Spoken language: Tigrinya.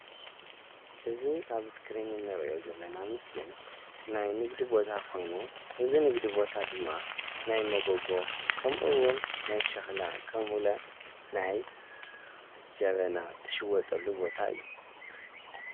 እዚ ኣብ ስክሪን እንርእዮ ዘለና ምስሊ ናይ ንግዲ ቦታ ኾይኑ እዚ ንግዲ ቦታ ድማ ናይ መጎጎ ከምኡ እውን ናይ ሸኽላ ከምኡለ ናይ ጀበና ትሽወጠሉ ቦታ እዩ።